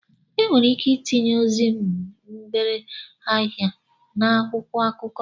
E nwere ike itinye ozi mgbere ahịa n'akwụkwọ akụkọ.